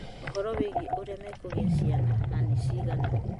ũhoro wĩgĩĩ ũrĩa mekũgĩa ciana na nĩ ciigana.